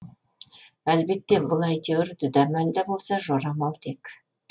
әлбетте бұл әйтеуір дүдәмал да болса жорамал тек